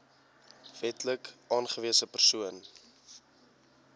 wetlik aangewese persoon